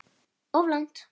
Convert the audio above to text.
Of langt.